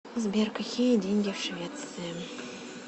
сбер какие деньги в швеции